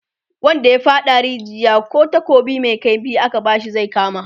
wanda ya faɗa a rijiya, kih takobi Mai kaifi aka bashi zai kama